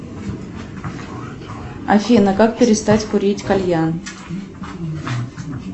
афина как перестать курить кальян